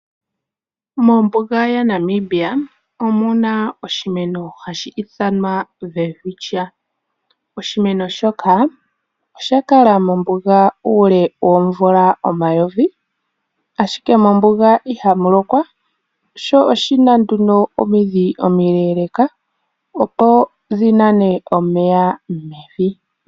Mombuga yaNamibia omu na oshimeno hashi ithanwa Welwitschia. Oshimeno shoka osha kala mombuga uule woomvula omayovi ashike mombuga ihamu lokwa, sho oshina nduno omidhi omileeleka, opo dhi nane omeya mevi.